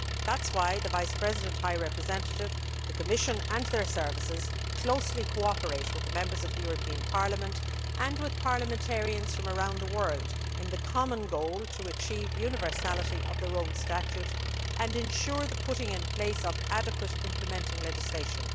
That is why the Vice President High Representative, the Commission and their services closely cooperate with the Members of the European Parliament and with parliamentarians from around the world in the common goal of achieving universality of the Rome Statute and ensuring the putting in place of adequate implementing legislation.